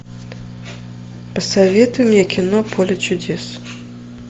посоветуй мне кино поле чудес